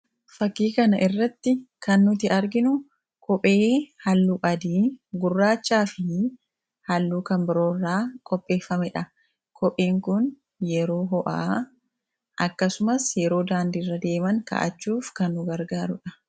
Fakkii kanarratti kan nuti arginu kophee halluu adii, gurraachaa fi halluu kan biroo irraa qopheeffamedha. Kopheen kun yeroo ho'aa akkasumas yeroo daandii irra deeman kaawwachuuf kan nu gargaarudha.